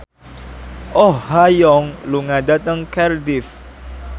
Oh Ha Young lunga dhateng Cardiff